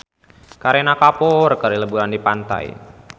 Kareena Kapoor keur liburan di pantai